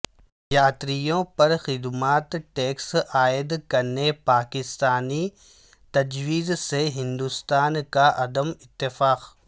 یاتریوں پر خدمات ٹیکس عائد کرنے پاکستانی تجویز سے ہندوستان کا عدم اتفاق